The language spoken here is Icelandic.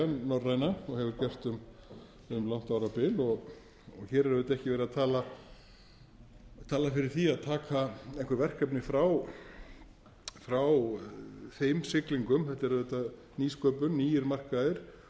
norræna og hefur gert um langt árabil og hér er auðvitað ekki verið að tala fyrir því að taka einhver verkefni frá þeim siglingum þetta er auðvitað nýsköpun nýir markaðir